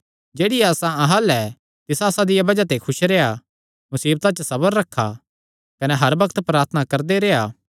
जेह्ड़ी आसा अहां अल्ल ऐ तिसा आसा दिया बज़ाह ते खुस रेह्आ मुसीबता च सबर रखा कने हर बग्त प्रार्थना करदे रेह्आ